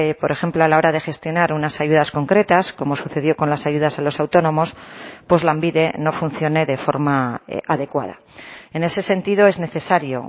por ejemplo a la hora de gestionar unas ayudas concretas como sucedió con las ayudas a los autónomos pues lanbide no funcione de forma adecuada en ese sentido es necesario